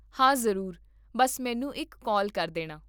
ਹਾਂ ਜਰੂਰ, ਬੱਸ ਮੈਨੂੰ ਇੱਕ ਕਾਲ ਕਰ ਦੇਣਾ